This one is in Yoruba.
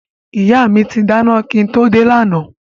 Ìyá mi ti dáná kí n tó dé lánàá